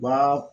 Ba